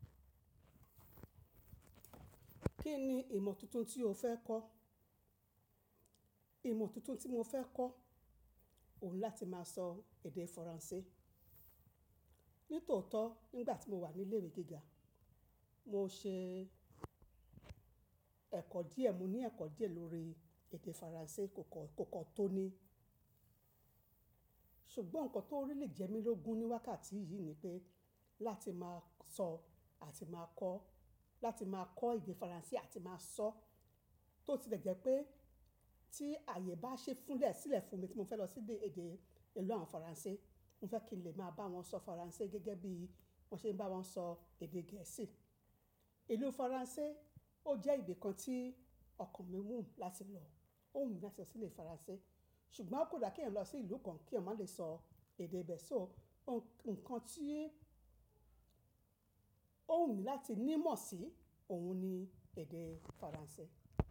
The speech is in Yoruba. Kí ni ìmọ̀ tuntun tí o fẹ́ kọ́? Ìmọ̀ tuntun tí mo fẹ́ kọ́, òun láti máa sọ èdè Faransé. Nítòótọ́ nígbà tí mo wà ní ilé ìwé gíga, mo ṣe ẹ̀kọ́ díẹ̀, mo ní ẹ̀kọ́ díẹ̀ lórí èdè Faransé, kò kọ́ kò kọ́ tó ní. Ṣùgbọ́n nǹkan tó ríli jẹ mí lógun ní wákàtí yìí ni pé láti máa sọ àti máa kọ́, láti máa kọ́ èdè Faransé àti máa sọ, tó ti dẹ̀jẹ̀ pé tí ààyè bá ṣe fúnlẹ̀ sílẹ̀ fún mi tí mo fẹ́ lọ sí ibi èdè ìlú àwọn Faransé, mo fẹ́ kí n lè máa bá wọn sọ Faransé gẹ́gẹ́ bí mo ṣe ń bá wọn sọ èdè Gẹ̀ẹ́sì. Ìlú Faransé ó jẹ́ ibi kan tí ọkàn mi wù mí láti lọ, ó wù mí láti lọ sí ilẹ̀ Faransé. Ṣùgbọ́n kò da kí ẹ̀yin lọ sí ìlú kan kí ọ má lè sọ èdè ibẹ̀. So nǹkan tí ó wù mí láti ní mọ̀ sí òun ni èdè Faransé.